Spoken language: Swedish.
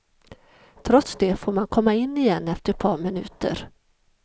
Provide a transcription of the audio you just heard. Trots det får man komma in igen efter ett par minuter.